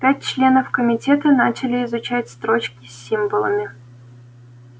пять членов комитета начали изучать строчки с символами